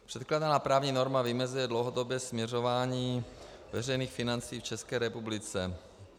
Předkládaná právní norma vymezuje dlouhodobé směřování veřejných financí v České republice.